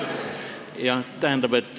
Hea meelega.